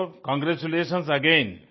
so congratulations again